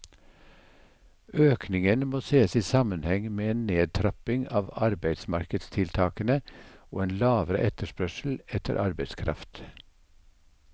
Økningen må ses i sammenheng med en nedtrapping av arbeidsmarkedstiltakene og en lavere etterspørsel etter arbeidskraft.